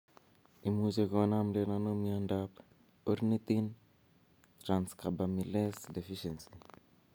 Imuche konamden ano miondap ornithine transcarbamylase deficiency?